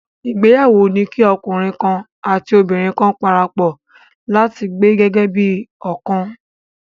Ìgbéyàwó ni kí ọkùnrin kan àti obìnrin kan parapọ̀ láti gbé gẹ́gẹ́ bí ọ̀kan.